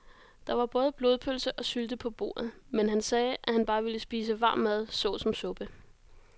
Der var både blodpølse og sylte på bordet, men han sagde, at han bare ville spise varm mad såsom suppe.